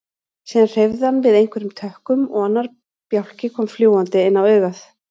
Síðan hreyfði hann við einhverjum tökkum og annar bjálki kom fljúgandi inn á augað.